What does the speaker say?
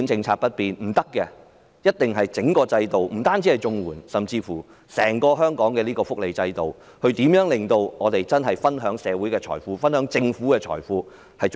我們必須改革整個制度，包括綜援以至香港整個福利制度，令大家能更公平地分享社會和政府財富。